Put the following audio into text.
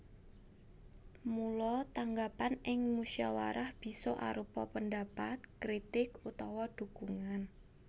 Mula tanggapan ing musawarah bisa arupa pendapat kritik utawa dukungan